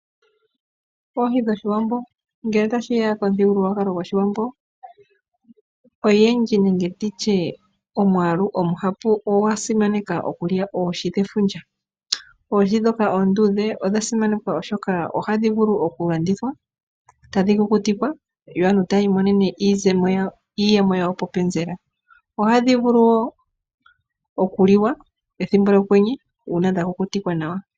Oohi dhoOshiwambo, ngele tashiya komuthigululwakalo gwOshiwambo oyendji nenge nditye omwaalu ogundji ogwasimaneka okulya oohi dhefundja. Oohi ndhoka oonduudhe odhasimanekwa oshoka ohadhi vulu okulandithwa, tadhi kukutikwa yo aantu tayi imonene mo iiyemo yawo popenzela. Ohadhi vulu wo okuliwa ethimbo lyokwenye uuna dhakukutikwa nawa.